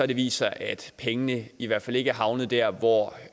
det vist sig at pengene i hvert fald ikke er havnet der hvor